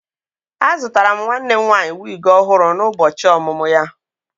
Azụtara m nwanne m nwanyị wig ọhụrụ n'ụbọchị ọmụmụ ya